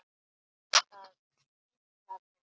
Það kitlar mig.